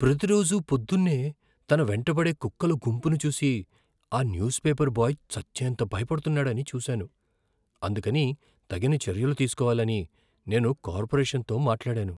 ప్రతిరోజూ పొద్దున్నే తన వెంటపడే కుక్కల గుంపును చూసి ఆ న్యూస్పేపర్ బాయ్ చచ్చేంత భయపడుతున్నాడని చూశాను. అందుకని తగిన చర్యలు తీసుకోవాలని నేను కార్పొరేషన్తో మాట్లాడాను.